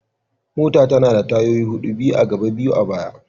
Mota tana da tayoyi hudu, biyu a gaba biyu a baya.